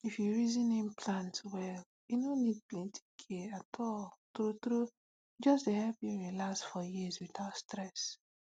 if you reason implant well e no need plenty care at all true true e just dey help you relax for years without stress.